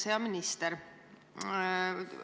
Hea minister!